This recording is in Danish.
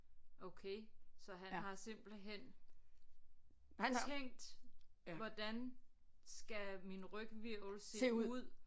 Okay så han har simpelthen tænkt hvordan skal min ryghvirvel se ud